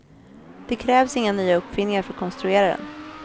Det krävs inga nya uppfinningar för att konstruera den.